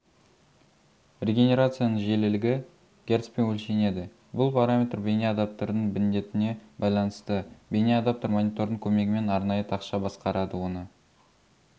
регенерацияның жиілілігі герцпен өлшенеді бұл параметр бейне адаптердің міндетіне байланысты бейне адаптер монитордың көмегімен арнайы тақша басқарады оны